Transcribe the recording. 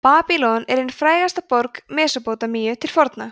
babýlon er ein frægasta borg mesópótamíu til forna